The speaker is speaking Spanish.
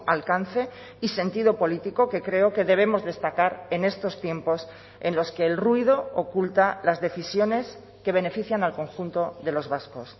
alcance y sentido político que creo que debemos destacar en estos tiempos en los que el ruido oculta las decisiones que benefician al conjunto de los vascos